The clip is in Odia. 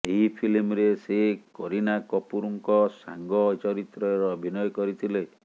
ଏହି ଫିଲ୍ମରେ ସେ କରୀନା କପୁରଙ୍କ ସାଙ୍ଗ ଚରିତ୍ରରେ ଅଭିନୟ କରିଥିଲେ